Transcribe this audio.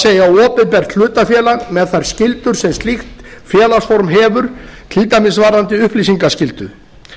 það er opinbert hlutafélag með þær skyldur sem slíkt félagsform hefur til dæmis varðandi upplýsingaskyldu